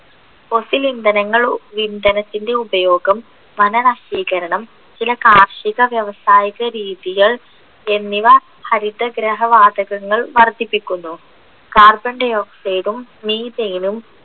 fossil ഇന്ധനങ്ങൾ ഇന്ധനത്തിൻ്റെ ഉപയോഗം വനനശീകരണം ചില കാർഷിക വ്യാവസായിക രീതികൾ എന്നിവ ഹരിതഗ്രഹവാതകങ്ങൾ വർധിപ്പിക്കുന്നു carbon dioxide ഉം methane ഉം